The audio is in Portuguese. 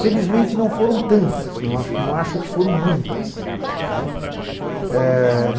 Felizmente, não foram tantas, não acho que foram muitas.